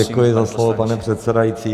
Děkuji za slovo, pane předsedající.